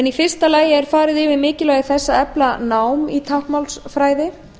í fyrsta lagi er farið yfir mikilvægi þess að efla nám í táknmálsfræði